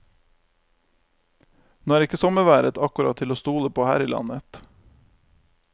Nå er ikke sommerværet akkurat til å stole på her i landet.